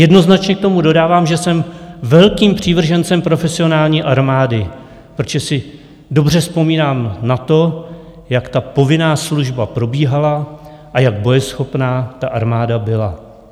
Jednoznačně k tomu dodávám, že jsem velkým přívržencem profesionální armády, protože si dobře vzpomínám na to, jak ta povinná služba probíhala a jak bojeschopná ta armáda byla.